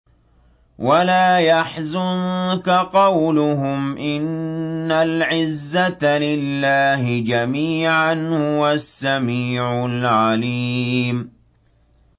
وَلَا يَحْزُنكَ قَوْلُهُمْ ۘ إِنَّ الْعِزَّةَ لِلَّهِ جَمِيعًا ۚ هُوَ السَّمِيعُ الْعَلِيمُ